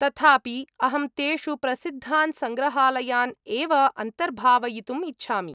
तथापि, अहं तेषु प्रसिद्धान् सङ्ग्रहालयान् एव अन्तर्भावयितुम् इच्छामि।